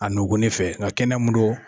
A nɔgɔni fɛ nka kɛnɛya mun don